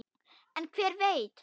En hver veit?